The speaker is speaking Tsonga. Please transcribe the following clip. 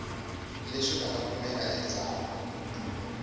leswi nga ta kumeka endzhaku